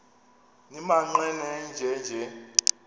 nimaqe nenje nje